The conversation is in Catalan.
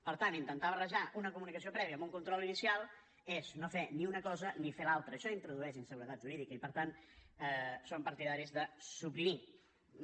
per tant intentar barrejar una comunicació prèvia amb un control inicial és no fer ni una cosa ni fer l’altra això introdueix inseguretat jurídica i per tant som partidaris de suprimirho